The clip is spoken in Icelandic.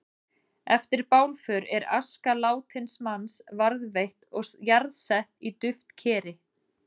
Eftir bálför er aska látins manns varðveitt og jarðsett í duftkeri.